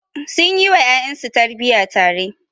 Sun yi wa ƴaƴansu tarbiyya tare.